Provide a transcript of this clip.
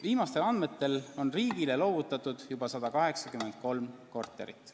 Viimastel andmetel on riigile loovutatud juba 183 korterit.